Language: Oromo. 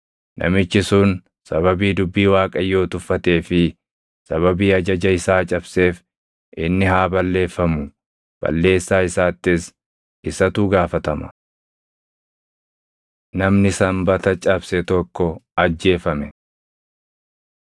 Namichi sun sababii dubbii Waaqayyoo tuffatee fi sababii ajaja isaa cabseef inni haa balleeffamu; balleessaa isaattis isatu gaafatama.’ ” Namni Sanbata Cabse Tokko Ajjeefame